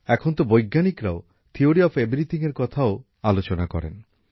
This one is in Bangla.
এখনতো বৈজ্ঞানিকরাও থিওরি অফ এভরিথিংএর কথা ও আলোচনা করেন